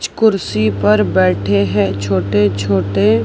कुर्सी पर बैठे हैं छोटे छोटे--